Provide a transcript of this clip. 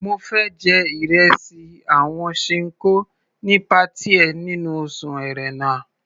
Mo fẹ́ jẹ ìresì àwọn Ṣinkó ní patí ẹ nínú oṣù Ẹ̀rẹnà.